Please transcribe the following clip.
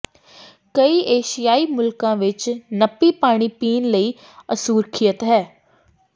ਕਈ ਏਸ਼ਿਆਈ ਮੁਲਕਾਂ ਵਿਚ ਨਪੀ ਪਾਣੀ ਪੀਣ ਲਈ ਅਸੁਰੱਖਿਅਤ ਹੈ